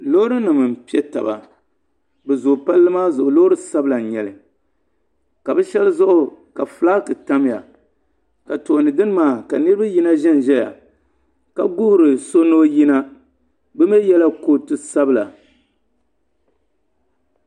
Loori nima n pɛ taba bi zooi palli maa zuɣu ka bi shɛba zuɣu ka flaki tamiya ka tooni dini maa ka niriba yina ziya ka guhiri so ni o yina bi mi yiɛla kootu sabila.